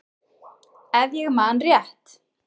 Ef ég man rétt.